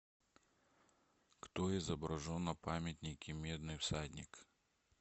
кто изображен на памятнике медный всадник